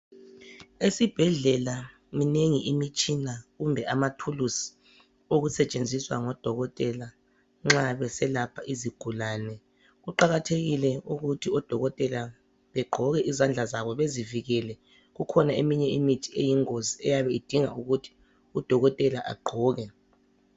Esibhedlela minengi imitshina kumbe amathulusi okusetshenziswa ngodokotela nxa beselapha izigulane kuqakathekile ukuthi odokotela begqoke izandla zabo bezivikele kukhona eminye imithi eyingozi eyabe idinga ukuthi udokotela agqoke